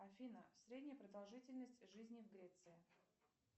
афина средняя продолжительность жизни в греции